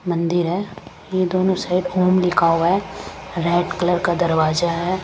मंदिर है ये दोनों साइड ओम लिखा हुआ है रेड कलर का दरवाजा है।